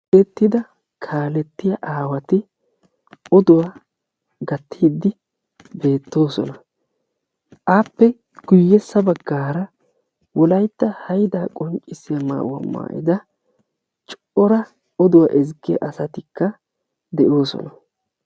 uttida kaalettiya aawati oduwa gattidi beetoosona. appe guyessa bagaara wolaytta haydaa qonccisiya maayuwa maayida cora oduwa ezggiya asatikka de'oosona.